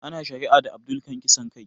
Ana shari'a da Abdul a kan kisan kai